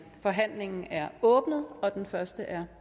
forhandlingen er åbnet og den første er